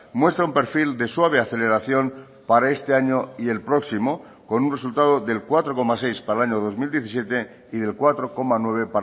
muestra un perfil de suave aceleración para este año y el próximo con un resultado del cuatro coma seis para el año dos mil diecisiete y del cuatro coma nueve